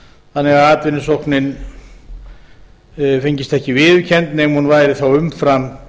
þannig að atvinnusóknin fengist ekki viðurkennd nema hún væri þá umfram